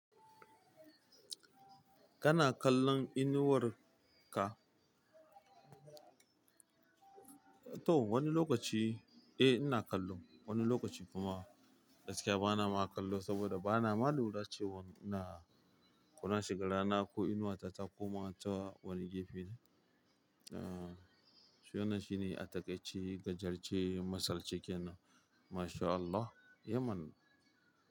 Kana kallon inuwar ka? To wani lokaci, eh ina kallo. Wani lokaci kuma gaskiya bana ma kallo saboda bana ma lura cewa ina, kona shiga rana ko inuwa ta ta koma ta wani gefe ne. Ah, shi wanna shi ne a takaici gajiyarce masalci kenan. Masha Allah, Yemen.